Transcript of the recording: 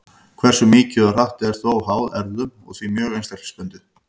Hversu mikið og hratt er þó háð erfðum og því mjög einstaklingsbundið.